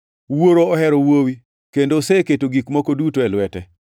Wuoro ohero Wuowi, kendo oseketo gik moko duto e lwete.